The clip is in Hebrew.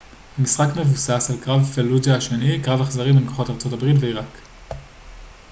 המשחק מבוסס על קרב פלוג'ה השני קרב אכזרי בין כוחות ארה ב ועיראק